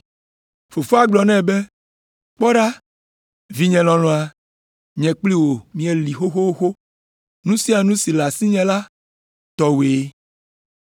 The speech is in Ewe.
“Fofoa gblɔ nɛ be, ‘Kpɔ ɖa, vinye lɔlɔ̃a, nye kpli wò míeli xoxoxo. Nu sia nu si le asinye la, tɔwòe.